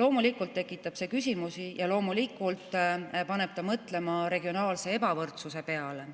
Loomulikult tekitab see küsimusi ja loomulikult paneb mõtlema regionaalse ebavõrdsuse peale,